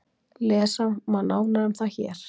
Lesa má nánar um það hér.